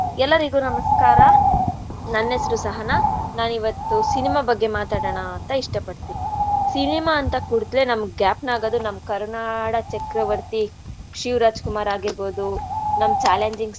ಎಲ್ಲಾರಿಗೂ ನಮಸ್ಕಾರ. ನನ್ಹೆಸ್ರು ಸಹನ ನಾನ್ ಇವತ್ತು cinema ಬಗ್ಗೆ ಮಾತಾಡಣ ಅಂತ ಇಷ್ಟಪಡ್ತೀನಿ. Cinema ಅಂದಕೂಡ್ಲೆ ನಮ್ಗ್ ಗ್ಯಾಪ್ನ ಆಗೋದು ನಮ್ ಕರುನಾಡ ಚಕ್ರವರ್ತಿ ಶಿವ್ರಾಜ್ ಕುಮಾರ್ ಆಗಿರ್ಬೋದು ನಮ್ challenging star .